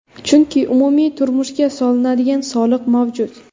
Chunki umumiy tushumga solinadigan soliq mavjud.